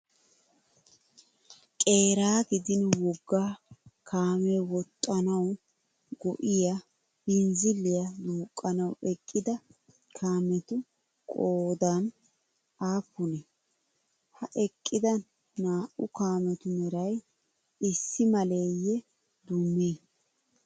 Qeeraa gidin wogga kaamee woxxanawu go''iya binzziliya duuqqanawu eqqida kaameti qoodan aappunee? Ha eqqida naa"u kaametu meray issi maleeyye dummee?